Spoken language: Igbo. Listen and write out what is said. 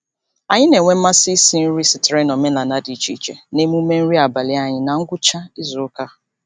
Anyị na-enwe mmasị isi nri sitere n'omenaala dị iche iche n'emume nri abalị anyị na ngwụcha izuụka.